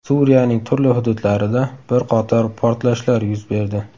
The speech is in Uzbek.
Suriyaning turli hududlarida bir qator portlashlar yuz berdi.